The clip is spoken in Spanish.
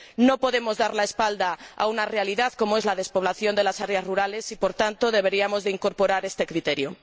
No podemos dar la espalda a una realidad como es la despoblación de las áreas rurales y, por tanto, deberíamos incorporar este criterio.